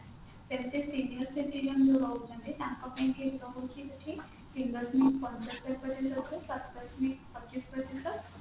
ସେମତି senior citizen ରେ ରହୁଛନ୍ତି ତାଙ୍କ ପାଇଁକି ରହୁଛି ଏଇଠି ପଚିଶ ପ୍ରତିଶତ